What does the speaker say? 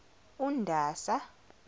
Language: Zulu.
undasa